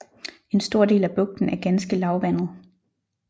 En stor del af bugten er ganske lavvandet